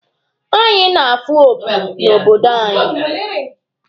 Anyị na-afụ opi n'obodo anyị.